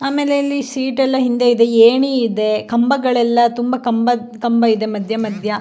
ಆಮೇಲೆ ಇಲ್ಲಿ ಸೀಟ್ ಎಲ್ಲ ಹಿಂದೆ ಇದೆ. ಏಣಿ ಇದೆ ಕಂಬಗಳೆಲ್ಲ ತುಂಬಾ ಕಂಬಾ ಕಂಬ ಇದೆ ಮದ್ಯ ಮದ್ಯ --